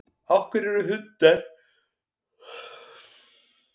af hverju eru hundar stundum grimmir og stundum góðir